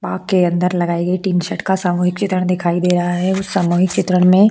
बाग के अंदर लगाई गई टीनशर्ट का सामूहिक चित्रण दिखाई दे रहा है उस सामूहिक चित्रण में --